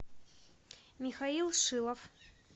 михаил шилов